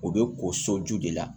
U bɛ ko so ju de la